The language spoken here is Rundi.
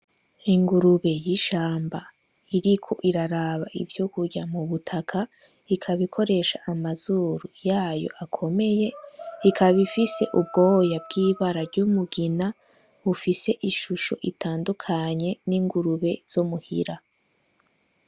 Ingurube y'ishamba iriko iraraba ivyokurya mubutaka, ikaba ikoresha amazuru yayo akomeye, ikaba ifise ubwoya bw'ibara ry'umugina bufise ishusho itandukanye n'ingurube zo muhira.